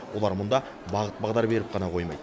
олар мұнда бағыт бағдар беріп қана қоймайды